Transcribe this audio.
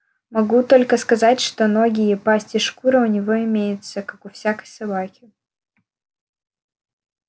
могу только сказать что ноги и пасть и шкура у него имеются как у всякой собаки